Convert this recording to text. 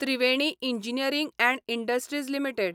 Triveni Engineering and Industries limited